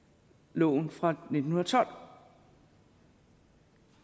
loven fra nitten tolv